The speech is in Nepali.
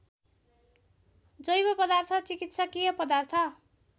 जैवपदार्थ चिकित्सकीय पदार्थ